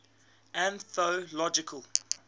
anthological